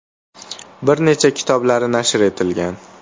Bir necha kitoblari nashr etilgan.